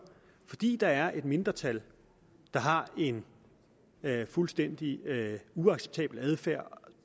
fordi der er et mindretal der har en fuldstændig uacceptabel adfærd